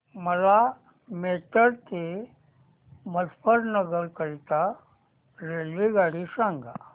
मला मेरठ ते मुजफ्फरनगर करीता रेल्वेगाडी सांगा